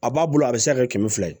A b'a bolo a bɛ se ka kɛ kɛmɛ fila ye